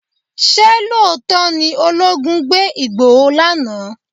Ṣé lóòótọ́ ni olóogun gbé Igboho lánàá?